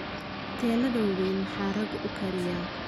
huteladha waweyn maxaa rag ukariya